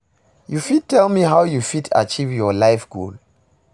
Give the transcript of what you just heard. you fit tell me how you fit achieve your life goal?